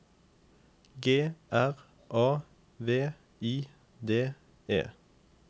G R A V I D E